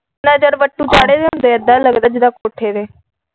ਨਜ਼ਰ ਵੱਟੂ ਚਾੜ੍ਹੇ ਹੁੰਦੇ ਇੱਧਾ ਲੱਗਦਾ ਜੀਦਾ ਕੋਠੇ ਤੇ।